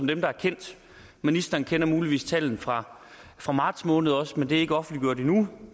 dem der er kendt ministeren kender muligvis tallene fra fra marts måned også men de er ikke offentliggjort endnu